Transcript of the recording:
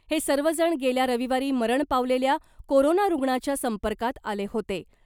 हे सर्वजण गेल्या रविवारी मरण पावलेल्या कोरोना रुग्णाच्या संपर्कात आले होते .